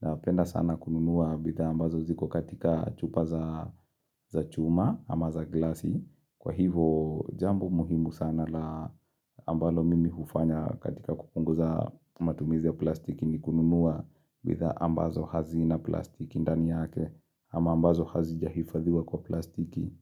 Na penda sana kununua bithaa ambazo ziko katika chupa za chuma ama za glasi. Kwa hivo jambo muhimu sana la ambalo mimi hufanya katika kupunguza matumizi ya plastiki ni kununua. Bidhaa ambazo hazina plastiki ndani yake ama ambazo hazija hifadhiwa kwa plastiki.